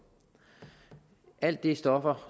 alle de stoffer